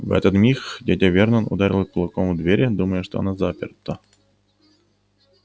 в этот миг дядя вернон ударил кулаком в дверь думая что она заперта